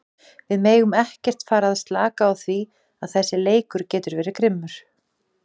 Við megum ekkert fara að slaka á því að þessi leikur getur verið grimmur.